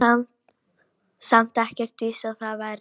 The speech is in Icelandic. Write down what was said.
Það er nú samt ekkert víst að það verði.